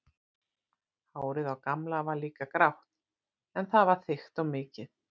Hárið á Gamla var líka grátt en það var þykkt og mikið.